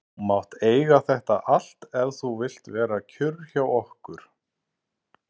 Og þú mátt eiga þetta allt ef þú vilt vera kjur hjá okkur.